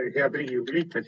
Head Riigikogu liikmed!